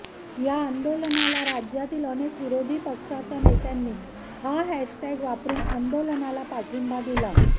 या आंदोलनाला राज्यातील अनेक विरोधी पक्षाच्या नेत्यांनी हा हॅश टॅग वापरून आंदोलनाला पाठिंबा दिला